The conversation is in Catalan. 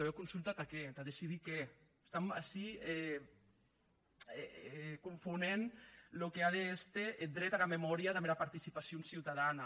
ua consulta tà qué tà decidir qué estam ací confonent çò qu’a d’èster eth dret ara memòria damb era participacion ciutadana